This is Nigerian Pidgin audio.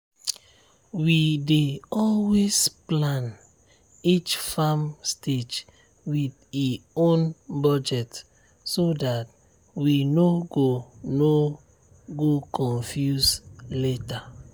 we dey always plan each farm stage with e own budget so dat we no go no go confuse later.